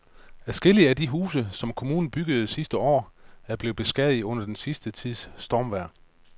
Adskillige af de huse, som kommunen byggede sidste år, er blevet beskadiget under den sidste tids stormvejr.